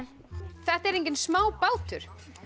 þetta er enginn smá bátur